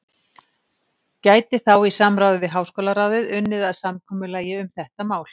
gæti þá í samráði við háskólaráðið unnið að samkomulagi um þetta mál.